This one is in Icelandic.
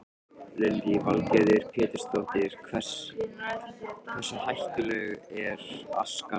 Lillý Valgerður Pétursdóttir: Hversu hættuleg er askan mönnum?